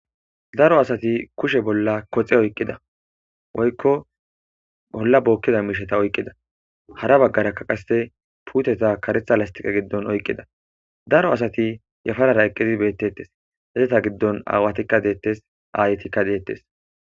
Daro asati kushe bolla koxe oyqida woykko ola bokiza mishata oyqida hara bagara qase puteta kareta pestalen oyqida daro asati yaparara eqidi betetes ezata gidon awatikka ayetika detes